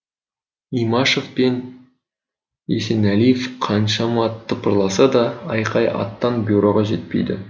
имашев пен есенәлиев қаншама тыпырласа да айқай аттан бюроға жетпейді